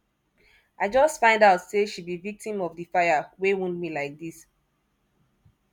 i just find out say she be victim of the fire wey wound me like dis